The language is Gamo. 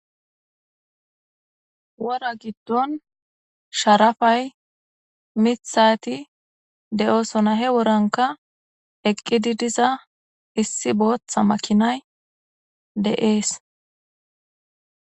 Wora giddonni sharappayi miththati de'osonna .hee woranikka eqiddi diza issi boththa makinayi de'ees.